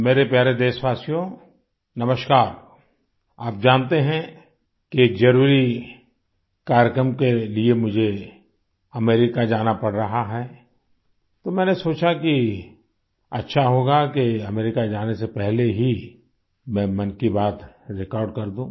मेरे प्यारे देशवासियो नमस्कार आप जानते हैं कि एक जरुरी कार्यक्रम के लिए मुझे अमेरिका जाना पड़ रहा है तो मैंने सोचा कि अच्छा होगा कि अमेरिका जाने से पहले ही मैं मन की बात रिकॉर्ड कर दूँ